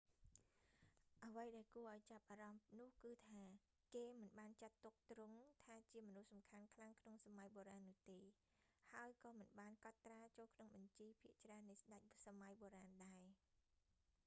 អ្វីដែលគួរឱ្យចាប់អារម្មណ៍នោះគឺថា គេមិនបានចាត់ទុកទ្រង់ថាជាមនុស្សសំខាន់ខ្លាំងក្នុងសម័យបុរាណនោះទេ ហើយក៏មិនបានកត់ត្រាចូលក្នុងបញ្ជីភាគច្រើននៃស្តេចសម័យបុរាណដែរ